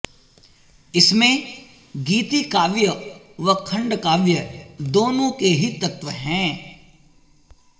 इसमें गीति काव्य व खंडकाव्य दोनों के ही तत्त्व हैं